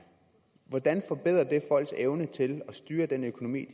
hvordan forbedrer det folks evne til at styre den økonomi